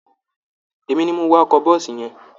Èmi ni mo wa ọkọ̀ bọ́ọ̀sì yẹn